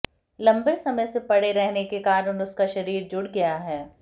लम्बे समय से पड़े रहने के कारण उसका शरीर जुड़ गया है